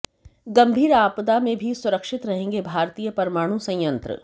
गंभीर आपदा में भी सुरक्षित रहेंगे भारतीय परमाणु संयंत्र